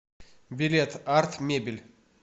билет арт мебель